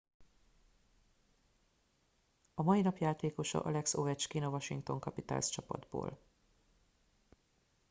a mai napi játékosa alex ovechkin a washington capitals csapatból